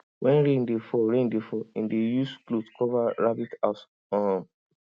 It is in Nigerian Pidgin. when rain dey fall rain dey fall im dey use cloth cover rabbit house um